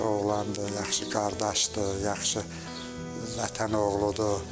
Yaxşı oğlandı, yaxşı qardaşdır, yaxşı Vətən oğludur.